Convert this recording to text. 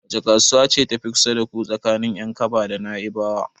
Wace kasuwa ce ta fi kusa da ku tsakanin Yankaba da Naibawa?